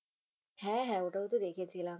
হ্যাঁ হ্যাঁ ওটাও তো দেখেছিলাম।